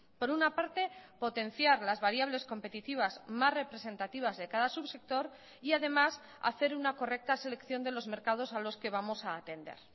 por una parte potenciar las variables competitivas más representativas de cada subsector y además hacer una correcta selección de los mercados a los que vamos a atender